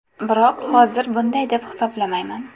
Biroq hozir bunday deb hisoblamayman.